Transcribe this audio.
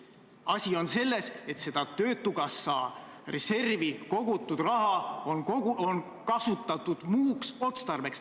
Asi on selles, et töötukassa reservi kogutud raha on kasutatud muuks otstarbeks.